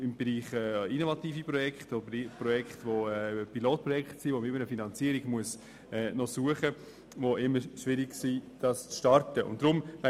Dies im Bereich «innovative Projekte» oder im Bereich «Pilotprojekte», für die eine Finanzierung gesucht werden muss und die Startschwierigkeiten haben.